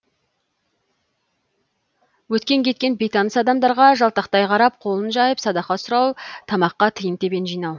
өткен кеткен бейтаныс адамдарға жалтақтай қарап қолын жайып садақа сұрау тамаққа тиын тебен жинау